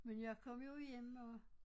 Men jeg kom jo hjem og